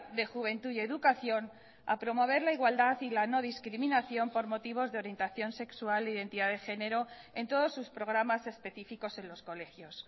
de juventud y educación a promover la igualdad y la no discriminación por motivos de orientación sexual identidad de género en todos sus programas específicos en los colegios